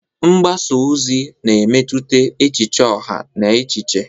Mgbasa ozi na-emetụta echiche ọha na echiche.